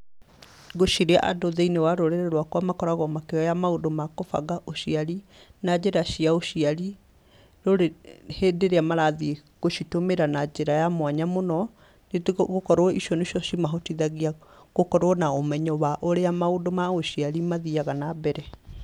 Ngwĩciria andũ thĩiniĩ wa rũrĩrĩ rwakwa makoragwo makĩoya maũndũ ma gũbanga ũciari na njĩra cia ũciari hĩndĩ ĩrĩa marathiĩ gũcitũmĩra na njĩra ya mwanya mũno, nĩgũkorwo icio nĩ cio cimahotithagia gũkorwo na ũmenyo wa ũrĩa mũndũ ma ũciari mathiaga na mbere.